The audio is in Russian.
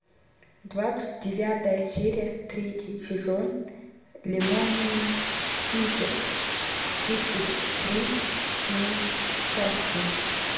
двадцать девятая серия третий сезон лемони сникет тридцать три несчастья